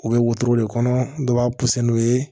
U bɛ wotoro de kɔnɔ dɔ b'a pɔsɔni ye